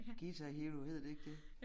Guitar Hero hed det ikke det